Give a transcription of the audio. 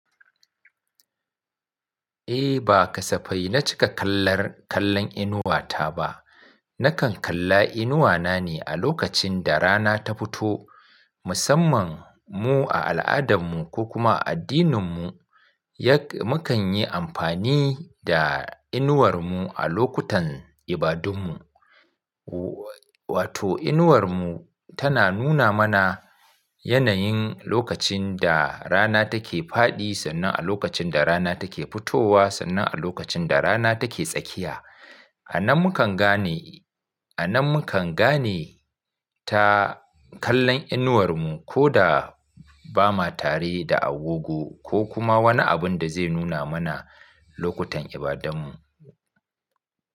Eh, ba kasafai na cika kallar kallon inuwata ba. Nakan kalla inuwana ne a lokacin da rana ta fito. Musamman mu a al'adanmu ko kuma a addininmu, yakan mukan yi amfani da inuwarmu a lokutan ibadunmu. Wato inuwarmu tana nuna mana yanayin lokacin da rana take fadi sannan a lokacin da rana take fitowa sannan a lokacin da rana take tsakiya. A nan mukan gane, a nan mukan gane ta kallon inuwarmu ko da ba ma tare da agogo ko kuma wani abun da zai nuna mana lokutan ibadanmu.